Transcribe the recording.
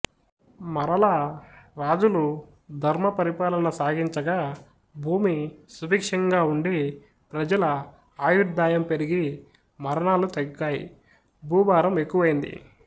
మరలా రాజులు ధర్మపరిపాలన సాగించగా భూమి సుభిక్షంగా ఉండి ప్రజల ఆయుర్ధాయం పెరిగి మరణాలు తగ్గాయి భూభారం ఎక్కువైంది